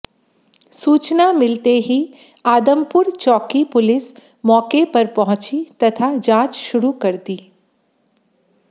सूचना मिलते ही आदमपुर चौकी पुलिस मौके पर पहुंची तथा जांच शुरू कर दी